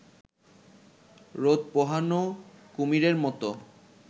রোদ পোহানো কুমিরের মতো